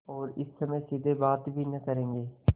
और इस समय सीधे बात भी न करेंगे